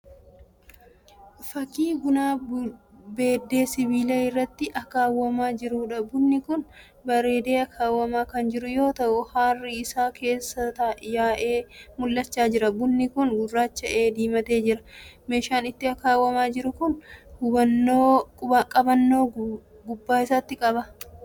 Fakkii buna beddee sibiilaa irratti akaawwamaa jiruudha. Bunni kun bareedee akaawwamaa kan jiru yoo ta'u haarrii isaa keessaa yaa'ee mul'achaa jira. Bunni kun gurraacha'ee diimatee jira. Meeshaan itti akaawwamaa jiru kun qabannoo duuba isaati qaba.